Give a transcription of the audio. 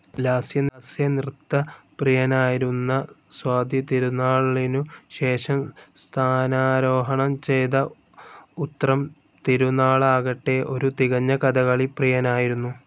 ലാസ്യനൃത്തപ്രിയനായിരുന്ന സ്വാതിതിരുനാളിനുശേഷം സ്ഥാനാരോഹണം ചെയ്ത ഉത്രം തിരുനാളാകട്ടെ ഒരു തികഞ്ഞ കഥകളി പ്രിയനായിരുന്നു.